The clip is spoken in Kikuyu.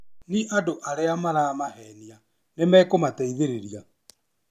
Ni andũ arĩa maramahenia nĩmekũmateithĩrĩria